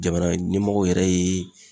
Jamana ɲɛmɔgɔw yɛrɛ ye